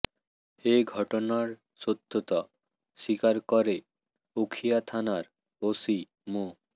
এ ঘটনার সত্যতা স্বীকার করে উখিয়া থানার ওসি মো